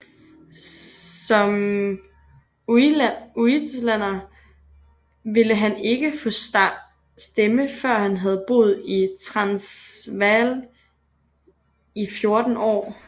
Som uitlander ville han ikke få stemme før han havde boet i Transvaal i 14 år